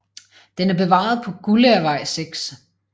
Den er bevaret på Guldagervej 6